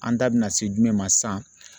An da bina se jumɛn ma sisan ?